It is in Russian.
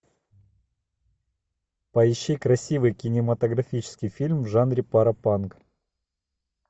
поищи красивый кинематографический фильм в жанре паропанк